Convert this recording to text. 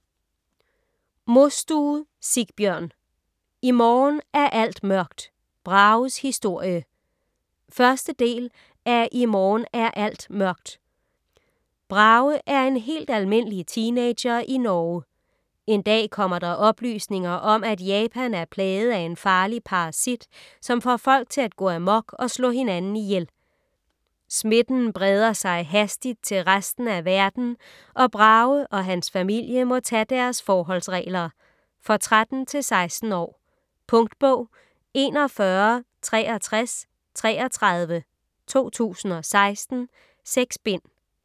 Mostue, Sigbjørn: I morgen er alt mørkt - Brages historie 1. del af I morgen er alt mørkt. Brage er en helt almindelig teenager i Norge. En dag kommer der oplysninger om, at Japan er plaget af en farlig parasit, som får folk til at gå amok og slå hinanden ihjel. Smitten breder sig hastigt til resten af verden, og Brage og hans familie må tage deres forholdsregler. For 13-16 år. Punktbog 416333 2016. 6 bind.